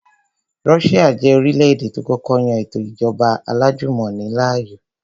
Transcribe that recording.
Russia jẹ́ orílẹ̀-èdè tó kọ́kọ́ yan ètò ìjọba alájùmọ̀ni láàyò